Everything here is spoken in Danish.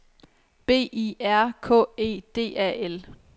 B I R K E D A L